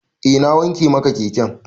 Eh na wanke maka keken.